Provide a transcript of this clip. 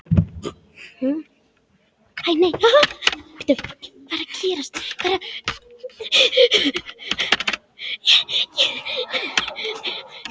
Amma var hress kona.